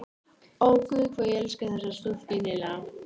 Ó, guð, hvað ég elska þessa stúlku innilega!